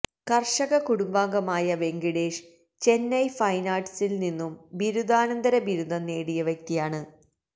കര്ഷക കുടുംബാംഗമായ വെങ്കിടേഷ് ചെന്നൈ ഫൈന് ആര്ട്ട്സില് നിന്നും ബിരുദാനന്തര ബിരുദം നേടിയ വ്യക്തിയാണ്